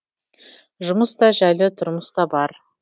жұмыс та жәйлі тұрмыс та бар